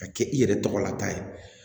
Ka kɛ i yɛrɛ tɔgɔ lata ye